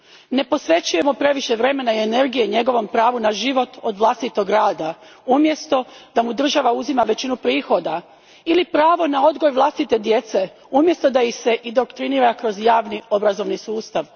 Ne posvećujemo previše vremena i energije njegovom pravu na život od vlastitog rada, umjesto da mu država uzima većinu prihoda, ili pravu na odgoj vlastite djece, umjesto da ih se indoktrinira kroz javni obrazovni sustav.